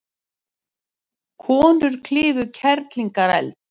Framlag hans til haffræðinnar er um margt merkilegt.